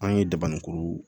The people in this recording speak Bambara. An ye dabanikuru